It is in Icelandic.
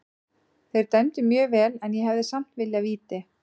Þeir dæmdu mjög vel en ég hefði samt viljað víti.